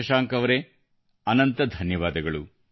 ಶಶಾಂಕ್ ಅವರೇ ಅನಂತ ಧನ್ಯವಾದಗಳು